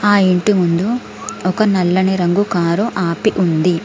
ఆ ఇంటి ముందు ఒక నల్లని రంగు కారు ఆపి ఉంది.